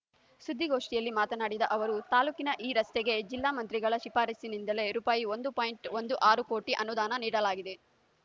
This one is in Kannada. ಸುದ್ದಿಗೋಷ್ಠಿಯಲ್ಲಿ ಮಾತನಾಡಿದ ಅವರು ತಾಲೂಕಿನ ಈ ರಸ್ತೆಗೆ ಜಿಲ್ಲಾ ಮಂತ್ರಿಗಳ ಶಿಫಾರಸ್ಸಿನಿಂದಲೇ ರೂಪಾಯಿ ಒಂದು ಪಾಯಿಂಟ್ ಒಂದು ಆರು ಕೋಟಿ ಅನುದಾನ ನೀಡಲಾಗಿದೆ